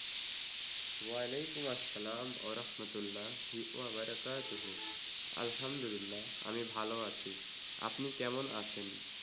ওয়ালাইকুম আসসালাম ওয়ারাহমাতুল্লাহি ওয়া বারাকাতুহু রাসুলুল্লাহ আলহামদুলিল্লাহ আমি ভাল আছি। আপনি কেমন আছেন?